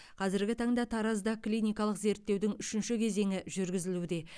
қазіргі таңда таразда клиникалық зерттеудің үшінші кезеңі жүргізілуде